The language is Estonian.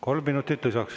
Kolm minutit lisaks.